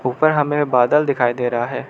ऊपर हमें बादल दिखाई दे रहा है।